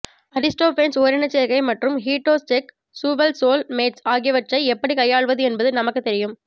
Aristophanes ஓரினச்சேர்க்கை மற்றும் heterosexual soul mates ஆகியவற்றை எப்படிக் கையாள்வது என்பது நமக்குத் தெரியும்